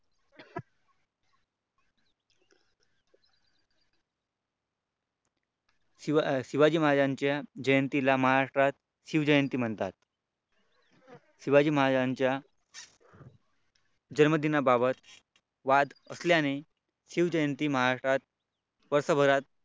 शिवाजी महाराजांच्या जयंतीला महाराष्ट्रात शिवजयंती म्हणतात शिवाजी महाराजांच्या जन्मदिना बाबत शिवजयंती महाराष्ट्र वर्षभरात